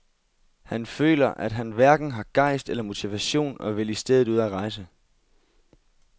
Han føler, at han hverken har gejst eller motivation og vil i stedet ud at rejse.